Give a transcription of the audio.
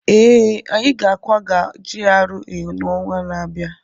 ee, anyị ga-akwaga GRA n'ọnwa na-abịa